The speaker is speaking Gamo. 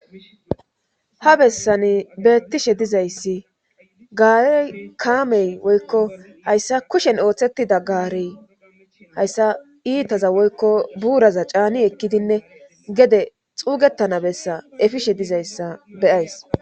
ha bessani beettishe dizayssi gaari kaamey woykko hayssa kushen ooththettida gaarey hayssa iitaza woykko buuraza caani ekkidinne gede xuugettana bessa efishe dizayssa beyays